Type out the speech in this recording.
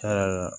Cɛn yɛrɛ la